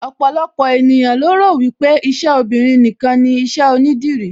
Ọ̀pọ̀lọpọ̀ ènìyàn lo rò wípé iṣẹ́ obinrin nìkan ni iṣẹ́ onídìrí